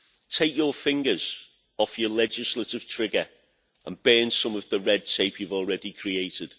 Take your fingers off your legislative trigger and burn some of the red tape you have already created.